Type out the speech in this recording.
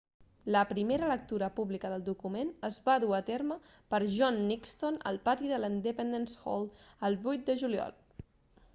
la primera lectura pública del document es va dur a terme per john nixon al pati de l'independence hall el 8 de juliol